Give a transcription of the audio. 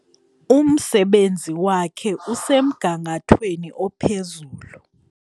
Umsebenzi wakhe usemgangathweni ophezulu.